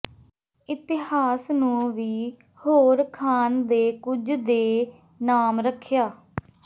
ਇਤਹਾਸ ਨੂੰ ਵੀ ਹੋਰ ਖਾਨ ਦੇ ਕੁਝ ਦੇ ਨਾਮ ਰੱਖਿਆ